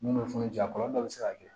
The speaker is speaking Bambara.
N'u ye funu ji kɔlɔlɔ dɔ bɛ se ka kɛ